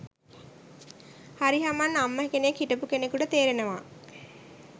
හරි හමන් අම්ම කෙනෙක් හිටපු කෙනෙකුට තේරෙනවා